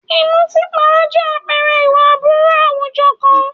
Ìmùtípara jẹ́ àpẹẹrẹ ìwà aburú àwùjọ kan.